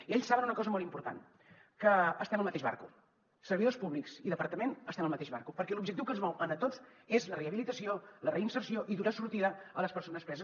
i ells saben una cosa molt important que estem al mateix barco servidors públics i departament estem al mateix barco perquè l’objectiu que ens mou a tots és la rehabilitació la reinserció i donar sortida a les persones preses